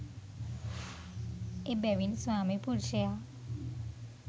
එබැවින් ස්වාමි පුරුෂයා